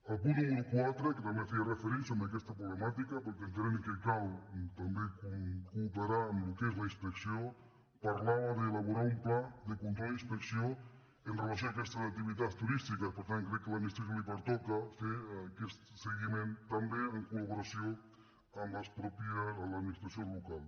el punt número quatre que també feia referència a aquesta proble·màtica perquè entenem que cal també cooperar en el que és la inspecció parlava d’elaborar un pla de con·trol i inspecció amb relació a aquestes activitats turís·tiques per tant crec que a l’administració li pertoca fer aquest seguiment també en col·ministració local